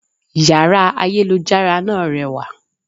Yàrá ayélujára náà rewà